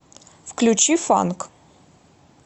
включи фанк